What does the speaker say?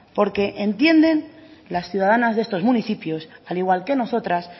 porque entienden las ciudadanas de estos municipios al igual que nosotras